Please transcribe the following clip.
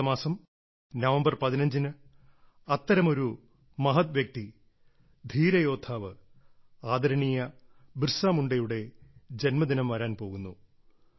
അടുത്ത മാസം നവംബർ 15 ന് അത്തരമൊരു മഹത്വ്യക്തി ധീര യോദ്ധാവ് ആദരണീയ ബിർസ മുണ്ടയുടെ ജന്മദിനം വരാൻ പോകുന്നു